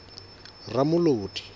ramolodi